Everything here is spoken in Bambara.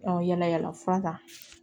yala yala fura ta